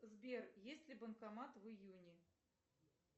сбер есть ли банкомат в июне